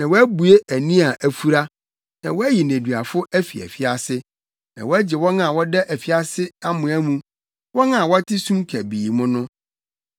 na woabue ani a afura, na woayi nneduafo afi afiase na woagye wɔn a wɔda afiase amoa mu, wɔn a wɔte sum kabii mu no.